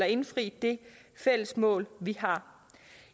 indfri det fælles mål vi har